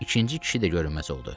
İkinci kişi də görünməz oldu.